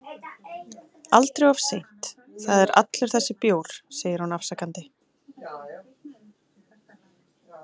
Aldrei of seint Það er allur þessi bjór, segir hún afsakandi.